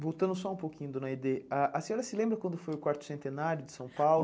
Voltando só um pouquinho, dona Aidê, a a senhora se lembra quando foi o quarto centenário de São Paulo?